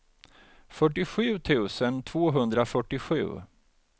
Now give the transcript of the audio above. fyrtiosju tusen tvåhundrafyrtiosju